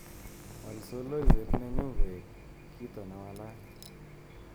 Wal soloiwet nenyu koe kito newalat